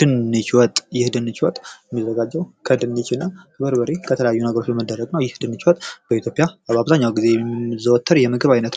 ድንች ወጥ ከበርበሬ፣ ከድንችና ከተለያዩ ነገሮች የሚሰራ የምግብ አይነት ሲሆን በኢትዮጵያውያን የሚዘወተር የምግብ አይነት